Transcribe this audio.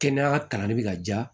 Kɛnɛya kalanni bɛ ka diya